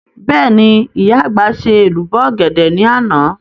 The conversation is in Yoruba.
Bẹ́ẹ̀ni, ìyá àgbà ṣe èlùbọ́ ọ̀gẹ̀dẹ̀ ní àná